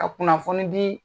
Ka kunnafoni di